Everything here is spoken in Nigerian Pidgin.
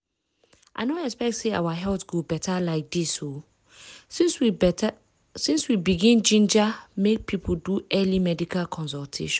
i no expect say our health go beta like this o since we begin ginger make people do early medical consultation.